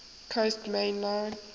coast main line